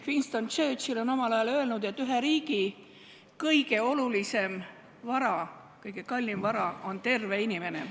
Winston Churchill on omal ajal öelnud, et ühe riigi kõige olulisem vara, kõige kallim vara on terve inimene.